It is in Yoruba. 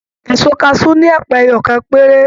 Èso kasu ní ẹpa ẹyọkan pere.